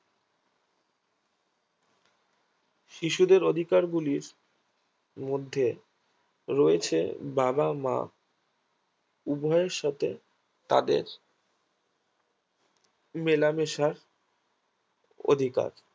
শিশুদের অধিকারগুলির মধ্যে রয়েছে বাবা মা উভয়ের সাথে তাদের মেলামেশার অধিকার